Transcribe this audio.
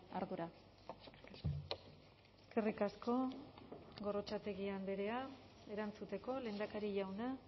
ardura eskerrik asko gorrotxategi andrea erantzuteko lehendakari jauna